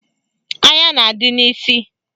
Anya na-adị n'isi